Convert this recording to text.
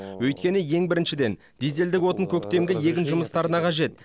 өйткені ең біріншіден дизельдік отын көктемгі егін жұмыстарына қажет